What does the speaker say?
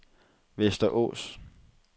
Västerås